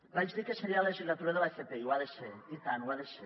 vaig dir que seria la legislatura de l’fp i ho ha de ser i tant ho ha de ser